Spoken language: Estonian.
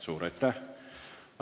Suur aitäh!